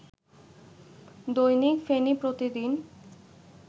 দৈনিক ফেনী প্রতিদিন